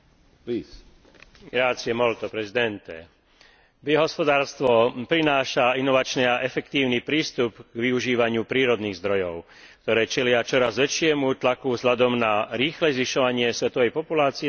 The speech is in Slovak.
Biohospodárstvo prináša inovačný a efektívny prístup k využívaniu prírodných zdrojov, ktoré čelia čoraz väčšiemu tlaku vzhľadom na rýchle zvyšovanie svetovej populácie spojenej so silným nárastom dopytu po potravinách.